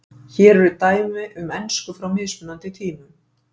Hér eru dæmi um ensku frá mismunandi tímum.